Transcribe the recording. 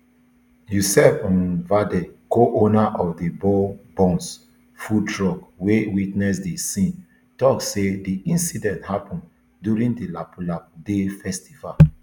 yoseb um vardeh coowner of the bao buns food truck wey witness di scene tok say di incident happun during di lapu lapu day festival